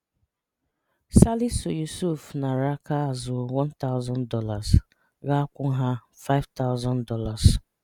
Salisu Yusuf nara aka azụ $1000 ga-akwụ nha $5000.